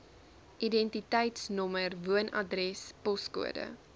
identiteitsnommer woonadres poskode